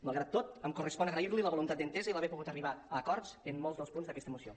malgrat tot em correspon agrair li la voluntat d’entesa i haver pogut arribar a acords en molts dels punts d’aquesta moció